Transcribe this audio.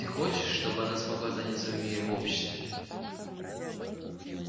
ты хочешь чтобы она смогла занять своё место в обществе